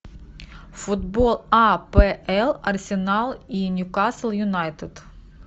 футбол апл арсенал и ньюкасл юнайтед